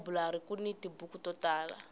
elayiburari kuni tibuku to tala